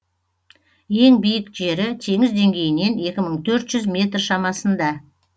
ең биік жері теңіз деңгейінен екі мың төрт жүз метр шамасында